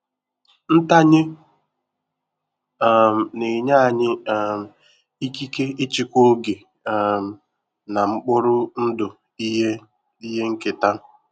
Ntanye um na-enye anyị um ikike ịchịkwa oge um na mkpụrụ ndụ ihe ihe nketa.